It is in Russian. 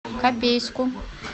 копейску